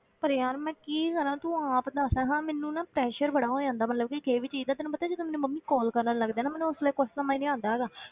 ਪਰ ਯਾਰ ਮੈਂ ਕੀ ਕਰਾਂ ਤੂੰ ਆਪ ਦੱਸ ਹਾਂ ਮੈਨੂੰ ਨਾ pressure ਬੜਾ ਹੋ ਜਾਂਦਾ ਮਤਲਬ ਕਿ ਕਿਸੇ ਵੀ ਚੀਜ਼ ਦਾ, ਤੈਨੂੰ ਪਤਾ ਜਦੋਂ ਮੈਨੂੰ ਮੰਮੀ call ਕਰਨ ਲੱਗਦੇ ਆ ਨਾ ਮੈਨੂੰ ਉਸ ਵੇਲੇ ਕੁਛ ਸਮਝ ਨੀ ਆਉਂਦਾ ਹੈਗਾ।